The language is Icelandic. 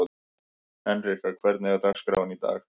Henrika, hvernig er dagskráin í dag?